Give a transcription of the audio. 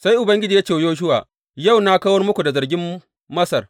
Sai Ubangiji ya ce wa Yoshuwa, Yau na kawar muku da zargin Masar.